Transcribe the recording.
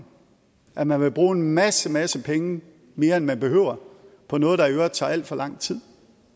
at man ville bruge en masse masse penge mere end man behøver på noget der i øvrigt tager alt for lang tid